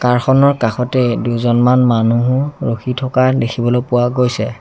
কাৰ খনৰ কাষতে দুজনমান মানুহো ৰখি থকা দেখিবলৈ পোৱা গৈছে।